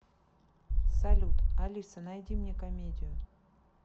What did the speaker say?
салют алиса найди мне комедию